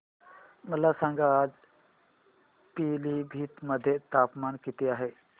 मला सांगा आज पिलीभीत मध्ये तापमान किती आहे